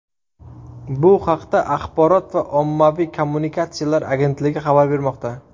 Bu haqda Axborot va ommaviy kommunikatsiyalar agentligi xabar bermoqda .